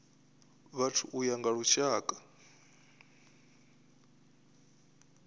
vhathu u ya nga lushaka